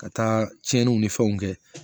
Ka taa tiɲɛniw ni fɛnw kɛ